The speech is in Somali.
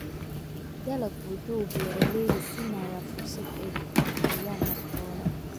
Dalaggu wuxuu beeralayda siinayaa fursado ay ku horumariyaan naftooda.